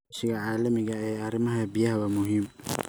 Iskaashiga caalamiga ah ee arrimaha biyaha waa muhiim.